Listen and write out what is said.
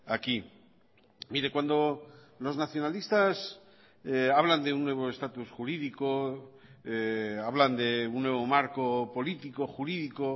aquí mire cuando los nacionalistas hablan de un nuevo estatus jurídico hablan de un nuevo marco político jurídico